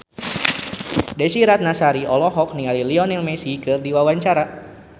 Desy Ratnasari olohok ningali Lionel Messi keur diwawancara